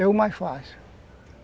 É o mais fácil.